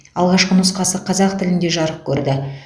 алғашқы нұсқасы қазақ тілінде жарық көрді